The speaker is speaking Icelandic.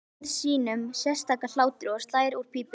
Helgi hlær sínum sérstaka hlátri og slær úr pípunni.